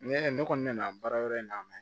Ne ne kɔni nana baara yɔrɔ in na dɛ